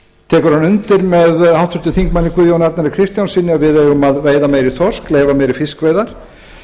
tekur hann undir með háttvirtum þingmanni guðjóni arnari kristjánssyni að við eigum að veiða meiri þorsk leyfa meiri fiskveiðar